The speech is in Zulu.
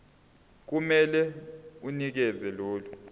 kumele unikeze lolu